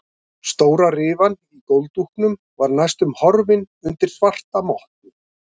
Stóra rifan í gólfdúknum var næstum horfin undir svarta mottu.